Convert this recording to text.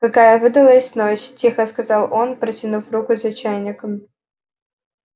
какая выдалась ночь тихо сказал он протянув руку за чайником